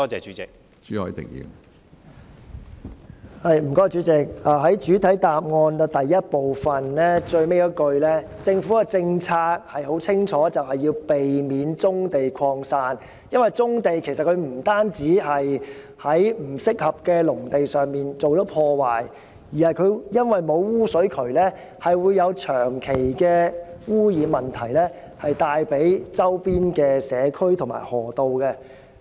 從主體答覆第一部分的最後一句，可發現政府的政策很清楚，就是要避免棕地擴散，因為棕地作業不單是在不適合的農地上進行破壞，加上沒有污水渠，導致對周邊社區和河道造成長期的污染問題。